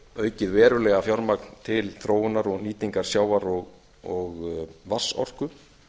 aukið verulega fjármagn til þróunar og nýtingar sjávar og vatnsorku